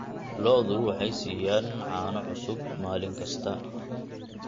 Lo'du waxay siiyaan caano cusub maalin kasta.